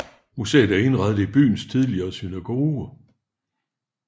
Museet er indrettet i byens tidligere synagoge